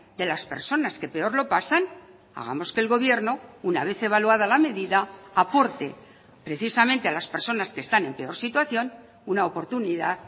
de las personas que peor lo pasan hagamos que el gobierno una vez evaluada la medida aporte precisamente a las personas que están en peor situación una oportunidad